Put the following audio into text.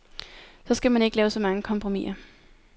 Så skal man ikke lave så mange kompromisser.